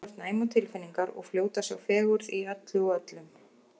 Þú ert næm á tilfinningar og fljót að sjá fegurð í öllu og öllum.